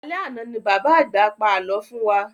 Alẹ́ àna ní bàbá àgbà pa alọ fún wa